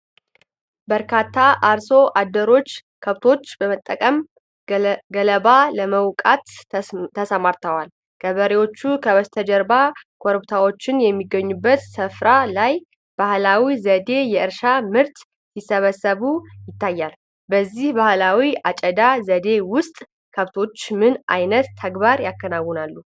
በርካታ አርሶ አደሮች ከብቶች በመጠቀም ገለባ ለመውቃት ተሰማርተዋል። ገበሬዎቹ ከበስተጀርባ ኮረብታዎች በሚገኙበት ስፍራ ላይ፣ በባህላዊ ዘዴ የእርሻ ምርት ሲሰበስቡ ይታያል። በዚህ ባህላዊ የአጨዳ ዘዴ ውስጥ ከብቶች ምን አይነት ተግባር ያከናውናሉ?